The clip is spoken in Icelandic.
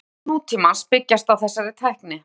Greindarpróf nútímans byggjast á þessari tækni.